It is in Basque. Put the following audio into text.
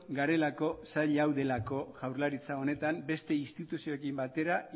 garelako sail hau delako jaurlaritza honetan beste instituzioekin batera